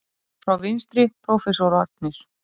Frá vinstri: Prófessorarnir